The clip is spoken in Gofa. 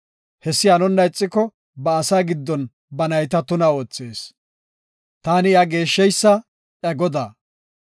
Hessi hanonna ixiko, ba asaa giddon ba nayta tuna oothees. Taani iya geeshsheysa, iya Godaa.”